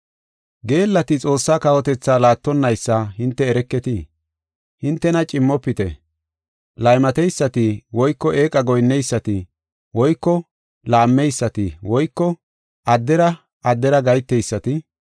Geellati Xoossa kawotethi laattonaysa hinte ereketii? Hintena cimmofite; laymateysati woyko eeqa goyinneysati woyko laammeysati woyko addera addera gaheteysati,